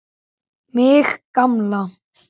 Mig gamla.